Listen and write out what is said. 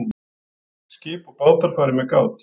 Skip og bátar fari með gát